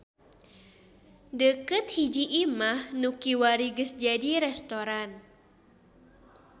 Deukeut hiji imah nu kiwari geus jadi restoran.